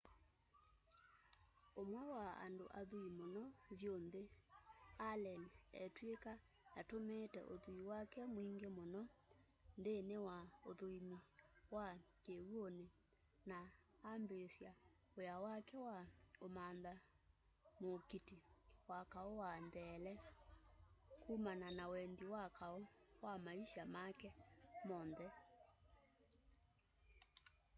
ũmwe wa andũ athui mũno vyũ nthĩ allen etw'ĩka atũmĩĩte ũthui wake mwingĩ mũno nthĩnĩ wa ũthũĩmi wa kĩw'ũnĩ na ambĩĩsya wĩa wake wa ũmantha mũũkiti wa kaũ wa ntheele kumana na wendi wa kaũ wa maisha make monthe